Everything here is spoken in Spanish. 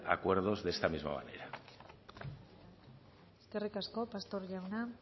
acuerdos de esta misma manera eskerrik asko pastor jauna